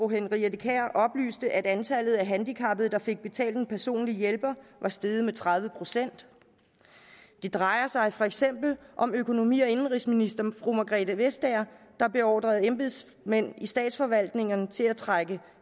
henriette kjær oplyste at antallet af handicappede der fik betalt en personlig hjælper var steget med tredive procent det drejer sig for eksempel om økonomi og indenrigsminister margrethe vestager der beordrede embedsmænd i statsforvaltningerne til at trække